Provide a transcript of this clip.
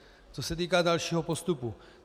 Co se týká dalšího postupu.